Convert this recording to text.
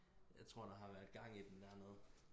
jeg tror der har været gang i den dernede